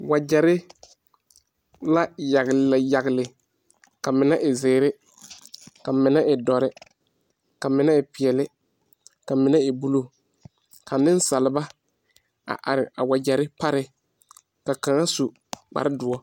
Wagyere la yagle yagle. Ka mene e ziire, ka mene e duore, ka mene e piɛle, ka mene e buluu. Ka nesaalba a are a wagyere pare. Ka kang su kpar duor.